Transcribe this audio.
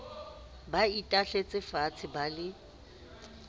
ba itahletse faatshe ba le